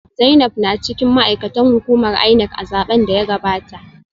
Zainab na cikin ma’aikatan hukumar INEC a zaben da ya gabata